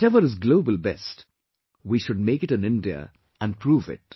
Whatever is global best; we should make it in India and prove it